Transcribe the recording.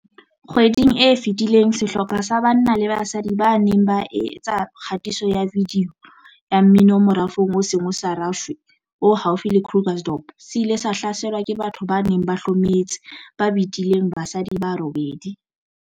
Kgweding e fetileng sehlopha sa banna le basadi ba neng ba etsa kgatiso ya vidiyo ya mmino morafong o seng o sa rashwe o haufi le Krugersdorp se ile sa hlaselwa ke batho ba neng ba hlometse ba betileng basadi ba robedi.